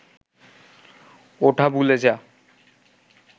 ওটা ভুলে যা